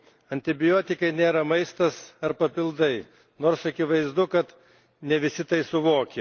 Antibiotikai nėra maistas ar papildai, nors akivaizdu, kad ne visi tai suvokia.